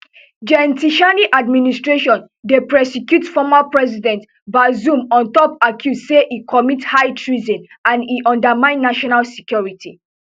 gen tchiani administration dey prosecute former president bazoum on top accuse say e commit high treason and e undermine national security